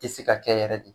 Tɛ se ka kɛ yɛrɛ de